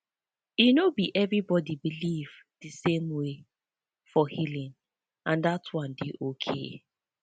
e no be everybody believe the same way for healing and that one dey okay